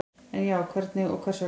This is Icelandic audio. Ef já, hverjum og hvers vegna?